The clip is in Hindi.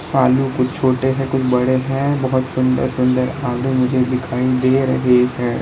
आलू कुछ छोटे हैं कुछ बड़े हैं बहोत सुन्दर सुंदर आलू मुझे दिखाई दे रहे है।